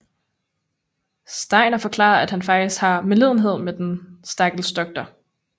Steiner forklarer at han faktisk har medlidenhed med den stakkels doktor